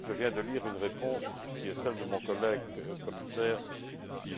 Je viens de lire une réponse qui est celle de mon collègue commissaire, M.